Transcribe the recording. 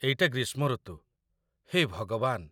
ଏଇଟା ଗ୍ରୀଷ୍ମ ଋତୁ, ହେ ଭଗବାନ!